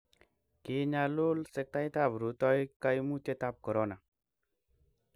Kiinyalul sektaitab rutoiy kaimutietab korona